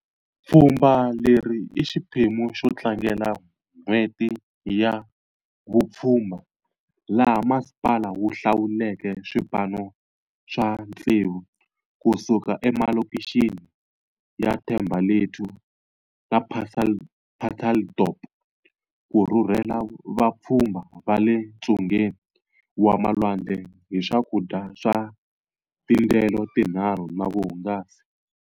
Pfhumba leri i xiphemu xo tlangela N'hweti ya Vupfhumba laha masipala wu hlawuleke swipano swa tsevu kusuka emalokixini ya Thembalethu na Pacaltsdorp ku rhurhela vapfhumba va le ntsungeni wa malwandle hi swakudya swa tindyelo ti nharhu na vuhungasi.